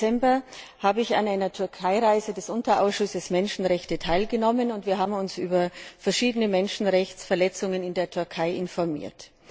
Im Dezember habe ich an einer Türkeireise des Unterausschusses Menschenrechte teilgenommen, und wir haben uns über verschiedene Menschenrechtsverletzungen in der Türkei informiert.